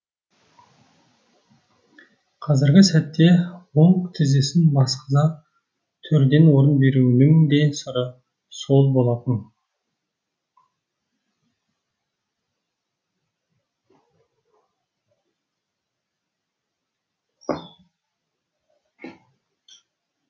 қазіргі сәтте оң тізесін басқыза төрден орын беруінің де сыры сол болатын